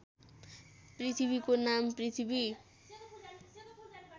पृथ्वीको नाम पृथ्वी